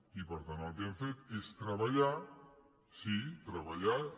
i per tant el que hem fet és treballar sí treballar i